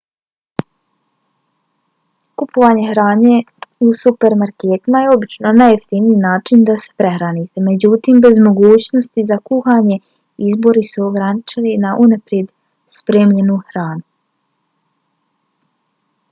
kupovanje hrane u supermarketima je obično najjeftiniji način da se prehranite. međutim bez mogućnosti za kuhanje izbori su ograničeni na unaprijed spremljenu hranu